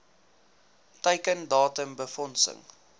teiken datum befondsing